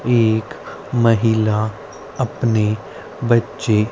एक महिला अपने बच्चे--